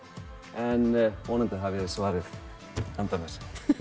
en vonandi hafið þið svarið handa mér